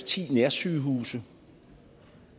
ti nærsygehuse